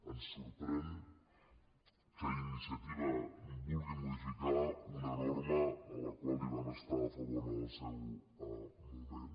ens sorprèn que iniciativa vulgui modificar una norma de la qual van estar a favor en el seu moment